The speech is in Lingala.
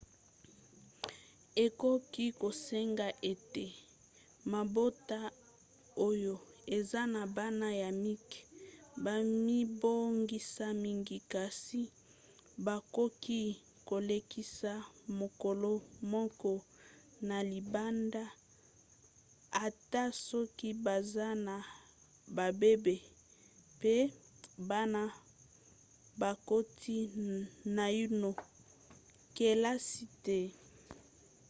ekoki kosenga ete mabota oyo eza na bana ya mike bamibongisa mingi kasi bakoki kolekisa mokolo moko na libanda ata soki baza na babebe pe bana bakoti naino kelasi te